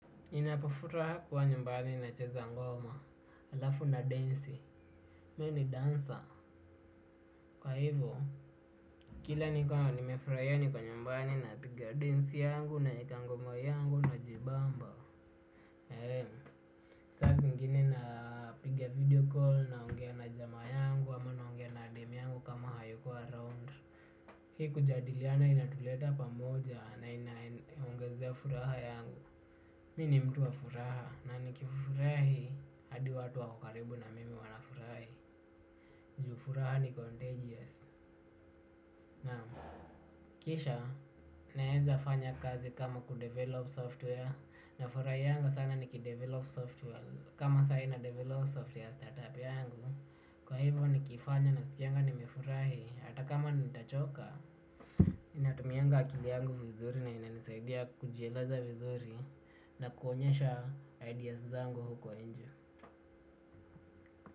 Inapofura kuwa nyumbani na cheza ngoma alafu na densi mi ni dancer kwa hivo kila ni kwa nimefurahia niko nyumbani na piga densi yangu naeka ngoma yangu na jibamba ee saa zingine na piga video call na ongea na jamaa yangu ama na ongea na dem yangu kama hayuko around hii kujadiliana inatuleta pamoja na ina ongezea furaha yangu Mi ni mtu wa furaha na ni kifurahi hadi watu waki karibu na mimi wana furahi. Juu furaha ni contagious naam kisha naeza fanya kazi kama kudevelop software. Na furahianga sana nikidevelop software. Kama sahii na develop software ya startup yangu. Kwa hivyo ni kifanya nasikianga nimefurahi. Hata kama nitachoka natumianga akili yangu vizuri na inanisaidia kujieleza vizuri. Na kuonyesha ideas zangu huko nje.